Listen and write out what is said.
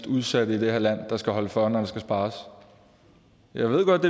udsatte i det her land der skal holde for når der skal spares jeg ved godt